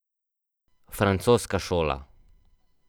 Francoska šola.